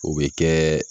O bɛ kɛ